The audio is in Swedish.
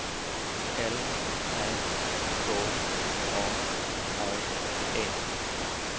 L Ä K A R E